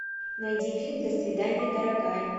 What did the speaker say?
найди фильм до свидания дорогая